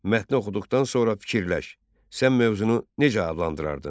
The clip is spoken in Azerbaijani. Mətni oxuduqdan sonra fikirləş, sən mövzunu necə adlandırardın?